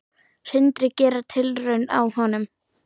Sindri: Gera tilraun á honum?